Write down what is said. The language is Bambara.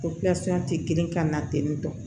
tɛ girin ka na ten tɔ